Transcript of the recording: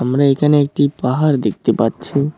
আমরা এখানে একটি পাহাড় দেখতে পাচ্ছি।